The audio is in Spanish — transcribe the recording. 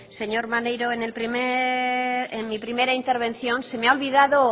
señor maneiro en mi primera intervención se me ha olvidado